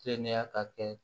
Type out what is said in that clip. Teliya ka kɛ